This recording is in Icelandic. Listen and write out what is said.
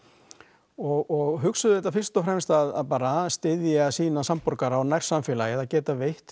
og hugsuð þetta fyrst og fremst bara að styðja sína samborgara og nærsamfélagið að geta veitt